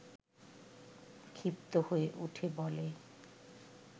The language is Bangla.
ক্ষিপ্ত হয়ে উঠে বলে